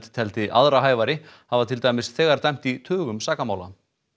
teldi aðra hæfari hafa til dæmis þegar dæmt í tugum sakamála